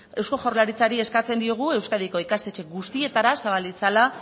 eusko jaurlaritzari eskatzen diogu euskadiko ikastetxe guztietara zabal ditzala